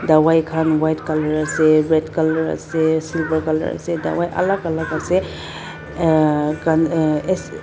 dawai khan buka colour ase red colour ase silver colour ase dawai alak alak ase uhh kan as--